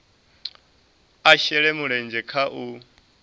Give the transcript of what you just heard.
a shele mulenzhe kha u